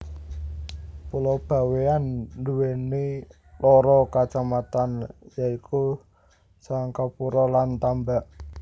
Pulo Bawéan nduweni loro kacamatan ya iku Sangkapura lan Tambak